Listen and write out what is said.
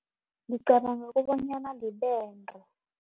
Ngicabanga kobanyana libende.